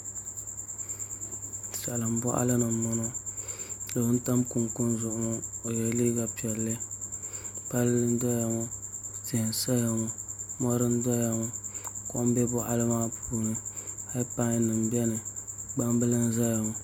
Salin boɣali ni n boŋo doo n tam kunkun zuɣu ŋo ka o yɛ liiga piɛlli palli n doya ŋo tia n saya ŋo mori n doya ŋo kom bɛ boɣali maa puuni heed pai nim biɛni gbambili n ʒɛya ŋo